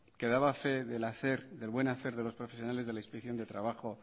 que daba fe del hacer del buen hacer de los profesionales de la inspección de trabajo